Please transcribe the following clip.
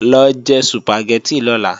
Lọ jẹ Sùpàgẹ́tì lọ́la!